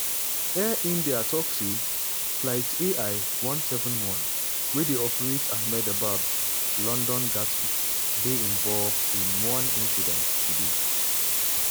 air india tok say: "flight ai171 wey dey operate ahmedabad-london gatwick dey involved in one incident today".